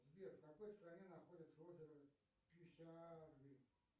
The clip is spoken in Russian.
сбер в какой стране находится озеро